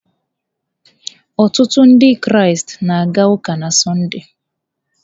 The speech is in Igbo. Ọtụtụ Ndị Kraịst na-aga ụka na Sọnde.